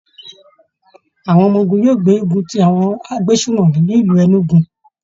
Àwọn ọmọ ogun yóò gbógun ti àwọn agbésùnmọ̀mí ní ìlú Enugu